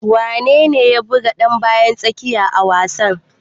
Wane ne ya buga dan bayan tsakiya a wasan?